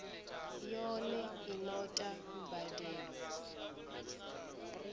yone i no ta mbadelo